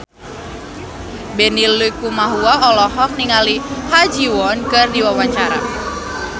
Benny Likumahua olohok ningali Ha Ji Won keur diwawancara